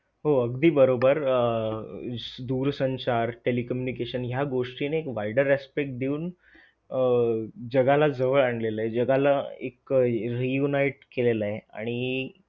दरम्यान खाजगी कृषी सेवा केंद्रामध्ये ही भात बियाणे खरेदी करण्यासाठी शेतकऱ्यांनी गर्दी कर शेतकऱ्यांनी गर्दी करून दिली आहे.